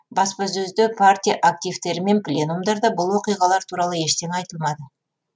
баспасөзде партия активтері мен пленумдарда бұл оқиғалар туралы ештеңе айтылмады